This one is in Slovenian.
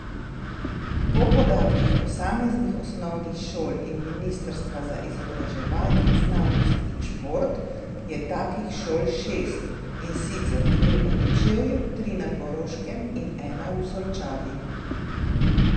Po podatkih posameznih osnovnih šol in ministrstva za izobraževanje, znanost in šport je takih šol šest, in sicer dve v Kočevju, tri na Koroškem in ena v Solčavi.